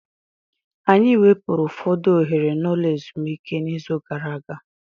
Anyị wepụrụ ụfọdụ oghere n'ụlọ ezumike n'izu gara aga.